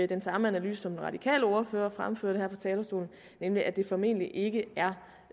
den samme analyse som den radikale ordfører fremførte her fra talerstolen nemlig at det formentlig ikke